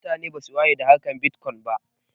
Mutane basu waye da harkar bitkwon ba